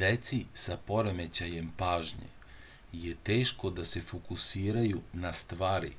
deci sa poremećajem pažnje je teško da se fokusiraju na stvari